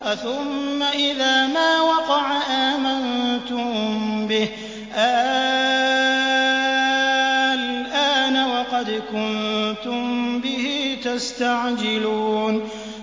أَثُمَّ إِذَا مَا وَقَعَ آمَنتُم بِهِ ۚ آلْآنَ وَقَدْ كُنتُم بِهِ تَسْتَعْجِلُونَ